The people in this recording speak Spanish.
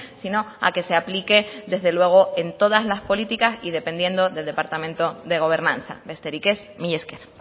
sino a que se aplique desde luego en todas las políticas y dependiendo del departamento de gobernanza besterik ez mila esker